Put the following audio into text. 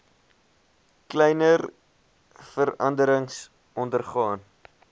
kleiner veranderings ondergaan